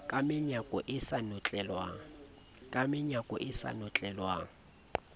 ka menyako e sa notlelwang